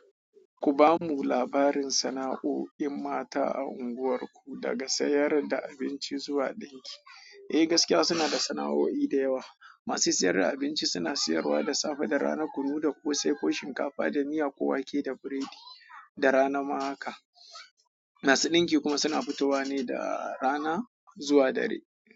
Ku ba mu labarin sana'o'in mata a unguwarku, daga sayar da abinci zuwa ɗinki. Eh, gaskiya suna da sana'o'i da yawa. Masu sayar da abinci suna sayarwa da safe, da rana, kunu da ƙosai ko shinkafa da miya ko wake da burodi da rana ma haka. Masu ɗinki kuma suna fitowa ne da rana zuwa dare.